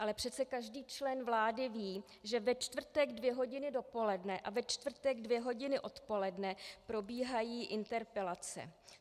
Ale přece každý člen vlády ví, že ve čtvrtek dvě hodiny dopoledne a ve čtvrtek dvě hodiny odpoledne probíhají interpelace.